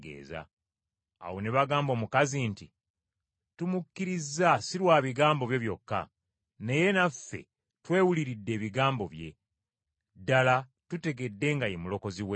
Awo ne bagamba omukazi nti, “Tumukkiriza si lwa bigambo byo byokka, naye naffe twewuliridde ebigambo bye. Ddala tutegedde nga ye Mulokozi w’ensi.”